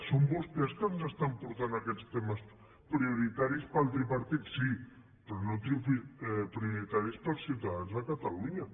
són vostès que ens estan portant aquests temes prioritaris per al tripartit sí però no prioritaris per als ciutadans de catalunya